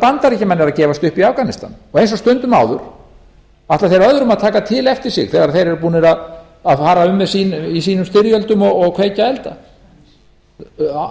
bandaríkjamenn eru að gefast upp í afganistan eins og stundum áður ætla þeir öðrum að taka tl eftir sig þegar þeir eru búnir að fara um í sínum styrjöldum og kveikja elda